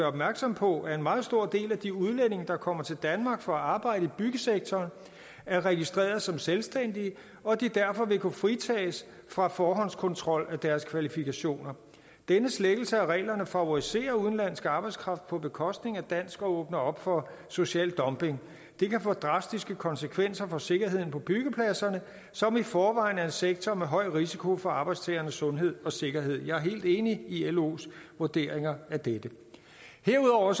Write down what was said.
opmærksom på at en meget stor del af de udlændinge der kommer til danmark for at arbejde i byggesektoren er registreret som selvstændige og derfor vil kunne fritages fra forhåndskontrol af deres kvalifikationer denne slækkelse af reglerne favoriserer udenlandsk arbejdskraft på bekostning af dansk og åbner op for social dumping det kan få drastiske konsekvenser for sikkerheden på byggepladserne som i forvejen er en sektor med høj risiko for arbejdstagernes sundhed og sikkerhed jeg er helt enig i los vurderinger af dette herudover